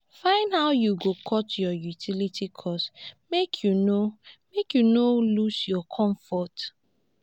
find how yu go short yur utility cost mek yu no mek yu no lose yur comfort